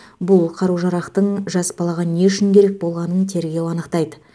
бұл қару жарақтың жас балаға не үшін керек болғанын тергеу анықтайды